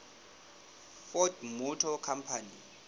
ford motor company